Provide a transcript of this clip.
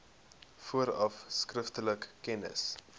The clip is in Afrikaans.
vooraf skriftelik kennis